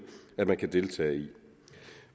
at man kan deltage i